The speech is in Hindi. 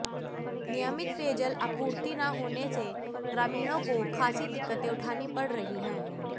नियमित पेयजल आपूर्ति न होने से ग्रामीणों को खासी दिक्कतें उठानी पड़ रही हैं